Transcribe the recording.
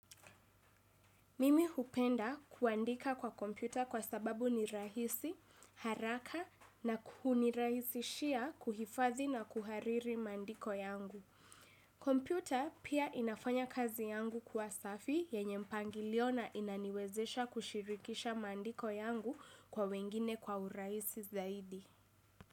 Mimi hupenda kuandika kwa kompyuta kwa sababu ni rahisi, haraka na huniraisishia kuhifadhi na kuhariri maandiko yangu. Kompyuta pia inafanya kazi yangu kuwa safi yenye mpangilio na inaniwezesha kushirikisha maandiko yangu kwa wengine kwa urahisi zaidi.